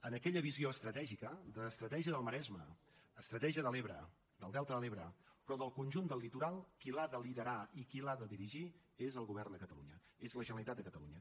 en aquella visió estratègica d’estratègia del maresme estratègia de l’ebre del delta de l’ebre però del conjunt del litoral qui l’ha de liderar i qui l’ha de dirigir és el govern de catalunya és la generalitat de catalunya